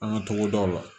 An ka togodaw la